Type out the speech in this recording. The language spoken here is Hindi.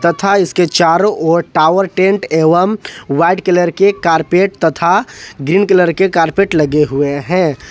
तथा इसके चारों ओर टावर टेंट एवं व्हाइट कलर के कारपेट तथा ग्रीन कलर के कारपेट लगे हुए हैं।